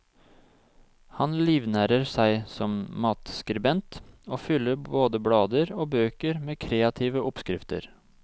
Han livnærer seg som matskribent og fyller både blader og bøker med kreative oppskrifter.